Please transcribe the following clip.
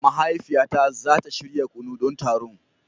Mahaifiyata za ta shirya kunu don taron.